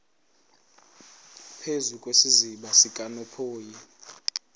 phezu kwesiziba sikanophoyi